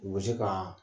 U bɛ se ka